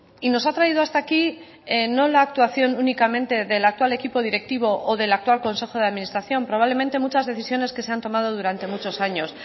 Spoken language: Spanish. y nos ha traído hasta aquí no la actuación únicamente del actual equipo directivo o del actual consejo de administración probablemente muchas decisiones que se han tomado durante muchos años